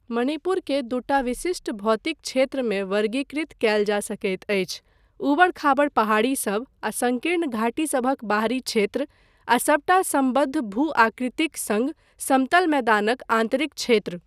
मणिपुरकेँ दूटा विशिष्ट भौतिक क्षेत्रमे वर्गीकृत कयल जा सकैत अछि, उबड़ खाबड़ पहाड़ीसब आ सङ्कीर्ण घाटीसभक बाहरी क्षेत्र, आ सबटा सम्बद्ध भू आकृतिक सङ्ग समतल मैदानक आन्तरिक क्षेत्र।